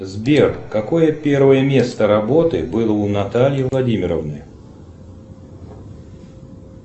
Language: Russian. сбер какое первое место работы было у натальи владимировны